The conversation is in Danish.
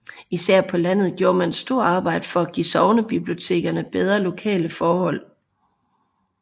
Især på landet gjorde man et stort arbejde for at give sognebibliotekerne bedre lokaleforhold